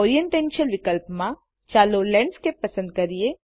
orientation વિકલ્પમાં ચાલો landscape પસંદ કરીએ